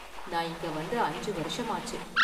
நான் இங்க வந்து அஞ்சு வருஷமாச்சு.